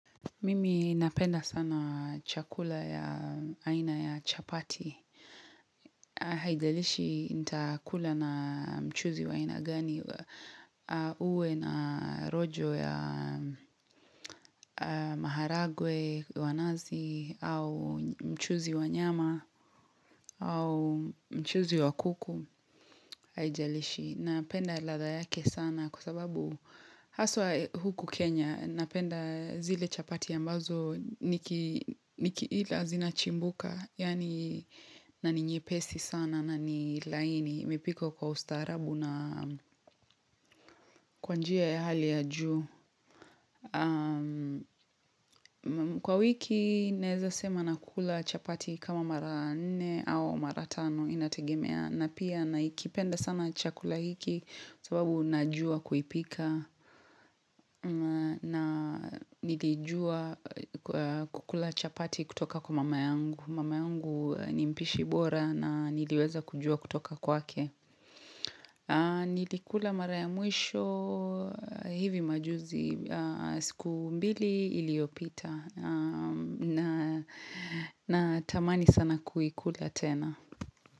Mimi napenda sana chakula ya aina ya chapati haijalishi nitakula na mchuzi wa aina gani uwe na rojo ya maharagwe wa nazi au mchuzi wa nyama au mchuzi wa kuku haijalishi. Napenda ladha yake sana kwa sababu haswa huku Kenya, napenda zile chapati ambazo nikiila zinachimbuka, yaani na ni nyepesi sana na ni laini imepikwa kwa ustaarabu na kwa njia ya hali ya juu Kwa wiki naeza sema nakula chapati kama mara nne au mara tano inategemea na pia nakipenda sana chakula hiki kwa sababu najua kuipika na nilijua kukula chapati kutoka kwa mama yangu mama yangu nimpishi bora na niliweza kujuwa kutoka kwake nilikula mara ya mwisho hivi majuzi siku mbili iliopita na natamani sana kuikula tena.